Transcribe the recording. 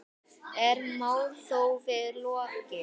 Er málþófi lokið?